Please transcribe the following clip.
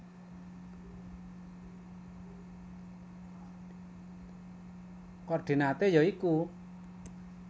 Koordinaté ya iku